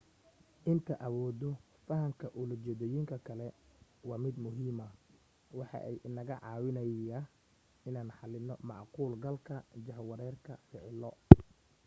inta awooda fahanka ula jeedoyinka kale waa mid muhiima waxa ay inaga caawineyga inaan xalino macquul galka jahwareerka ficilo